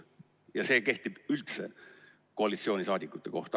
Ja see kehtib üldse koalitsiooniliikmete kohta.